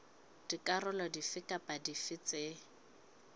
dikarolo dife kapa dife tse